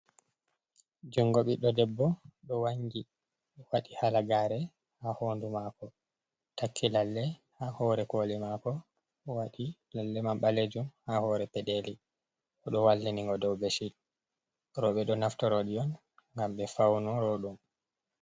Jungo ɓidɗo Debbo ɗo wangi waɗi halagare ha Hondu mako. Taki Lalle ha hore Koli mako, waɗi Lalle man ɓalejum ha hore peɗeli. Oɗo wallini ngo dou beshit. Roɓe ɗo naftiro ɗi'on ngam ɓe Fauno roɗum.